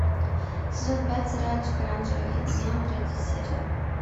сезон пять сериальчик оранжевый хит сезона третья серия